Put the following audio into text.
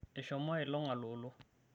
eshomo ailong aloloo